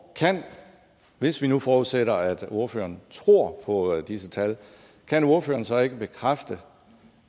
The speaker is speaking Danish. hvis vi nu forudsætter at ordføreren tror på disse tal kan ordføreren så ikke bekræfte